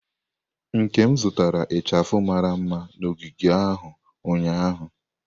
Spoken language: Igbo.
Nkem zụtara ichafu mara mma na ogige ahụ ụnyahụ.